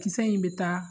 Kisɛ in bɛ taa